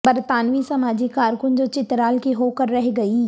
برطانوی سماجی کارکن جو چترال کی ہوکر رہ گئیں